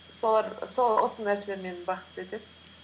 осы нәрселер мені бақытты етеді